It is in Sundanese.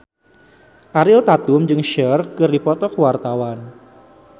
Ariel Tatum jeung Cher keur dipoto ku wartawan